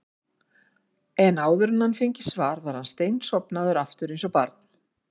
en áður en hann fengi svar var hann steinsofnaður aftur eins og barn.